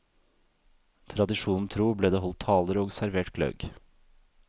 Tradisjonen tro ble det holdt taler og servert gløgg.